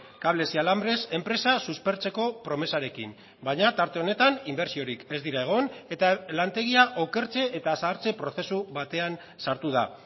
cables y alambres enpresa suspertzeko promesarekin baina tarte honetan inbertsiorik ez dira egon eta lantegia okertze eta zahartze prozesu batean sartu da